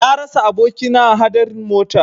Na rasa abokina a hadarin mota.